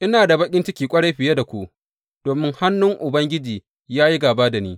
Ina da baƙin ciki ƙwarai fiye da ku, domin hannun Ubangiji ya yi gāba da ni!